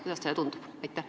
Kuidas teile tundub?